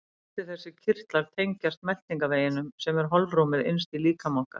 Allir þessir kirtlar tengjast meltingarveginum sem er holrúmið innst í líkama okkar.